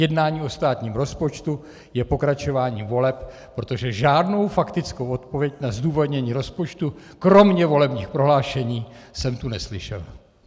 Jednání o státním rozpočtu je pokračováním voleb, protože žádnou faktickou odpověď na zdůvodnění rozpočtu kromě volebních prohlášení jsem tu neslyšel.